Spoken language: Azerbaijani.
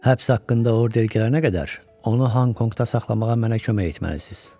Həbs haqqında order gələnə qədər onu Honkonqda saxlamağa mənə kömək etməlisiz.